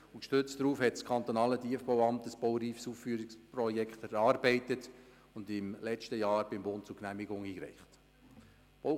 Gestützt darauf hat das kantonale Tiefbauamt das Bauausführungsprojekt erarbeitet und im letzten Jahr beim Bund zur Genehmigung eingereicht.